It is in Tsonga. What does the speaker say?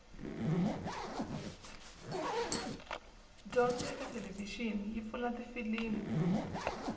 dyondzo ekathelevishini yipfuna tifilimu